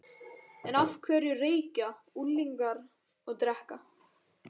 En af hverju reykja unglingar og drekka?